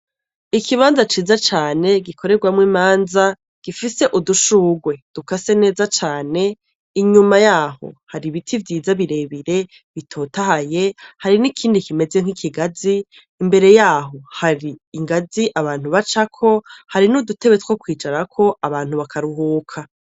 Ikibanza ciza cane gikoregwamwo imanza gifise udushugwe dukase neza cane inyuma yahoom hari ibiti vyiza bire bire bitotahaye hari n' ikindi kimeze nk' ikigazi imbere yaho hari ingazi abantu bacako hari n' udutebe two kwicarako abantu bakaruhuka.